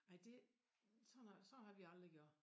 Ej dét sådan sådan har vi aldrig gjort